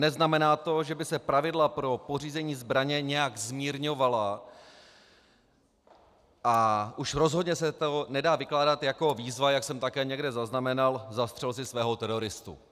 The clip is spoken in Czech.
Neznamená to, že by se pravidla pro pořízení zbraně nějak zmírňovala, a už rozhodně se to nedá vykládat jako výzva, jak jsem také někde zaznamenal, zastřel si svého teroristu.